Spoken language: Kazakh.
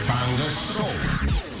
таңғы шоу